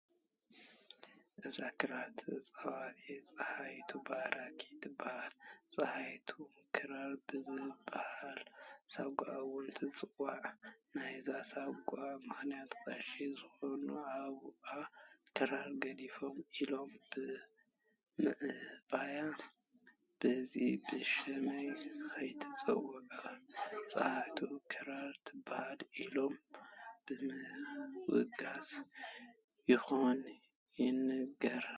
እዛ ክራር ተፃዋቲት ፀሃይቱ ባራኺ ትበሃል፡፡ ፀሃይቱ ክራር ብዝበሃል ሳጓ እውን ትፅዋዕ፡፡ ናይዚ ሳጓ ምኽንያት ቀሺ ዝኾኑ ኣቡኣ ክራር ግደፊ ኢሎማ ብምእባያ በዝሕዚ ብሽመይ ከይትፅዋዕ ፀሃይቱ ክራር ትበሃል ኢሎም ብምውጋዞም ምዃኑ ይንገር፡፡